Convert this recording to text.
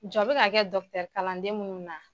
Jɔ bɛ ka kɛ kalanden munnu na.